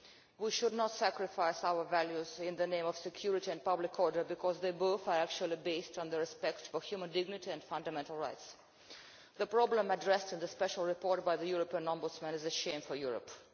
We should not sacrifice our values in the name of security and public order, because they are actually both based on respect for human dignity and fundamental rights. The problem addressed in the special report by the European Ombudsman is a shame for Europe.